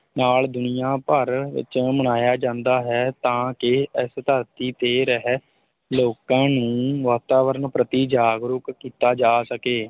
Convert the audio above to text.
ਨਾਲ ਦੁਨੀਆ ਭਰ ਵਿੱਚ ਮਨਾਇਆ ਜਾਂਦਾ ਹੈ ਤਾਂ ਕਿ ਇਸ ਧਰਤੀ ਤੇ ਰਹਿ ਲੋਕਾਂ ਨੂੰ ਵਾਤਾਵਰਣ ਪ੍ਰਤੀ ਜਾਗਰੂਕ ਕੀਤਾ ਜਾ ਸਕੇ।